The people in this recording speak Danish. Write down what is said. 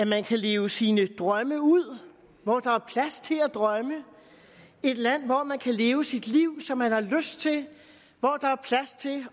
man kan leve sine drømme ud og hvor der er plads til at drømme et land hvor man kan leve sit liv som man har lyst til